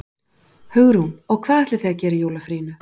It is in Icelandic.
Hugrún: Og hvað ætlið þið að gera í jólafríinu?